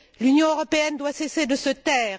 L'Union européenne doit cesser de se taire.